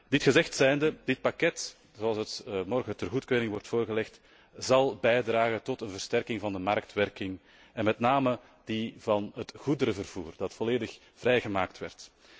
Dit gezegd zijnde, dit pakket, zoals dat morgen ter goedkeuring wordt voorgelegd, zal bijdragen tot een versterking van de marktwerking en met name die van het goederenvervoer, dat volledig vrijgemaakt werd.